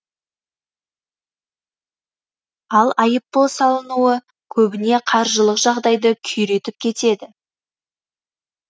ал айыппұл салынуы көбіне қаржылық жағдайды күйретіп кетеді